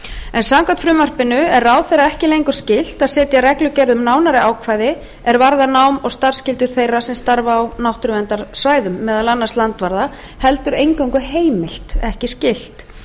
en samkvæmt frumvarpinu er ráðherra ekki lengur skylt að setja reglugerð um nánari ákvæði er varðar nám og starfsskyldur þeirra sem starfa á náttúruverndarsvæðum meðal annars landvarða heldur eingöngu heimilt ekki skylt